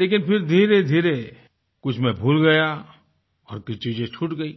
लेकिन फिर धीरेधीरे कुछ मैं भूल गया और कुछ चीजें छूट गयी